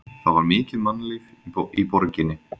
Það var mikið mannlíf í borginni.